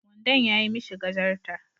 Wandon yayi mishi gajarta